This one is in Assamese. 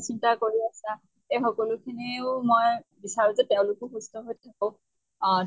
চিন্তা কৰি আছা এই সকলোখিনিও মই বিচাৰোঁ যে তেওঁলোকো সুস্থ হৈ থাকক। অ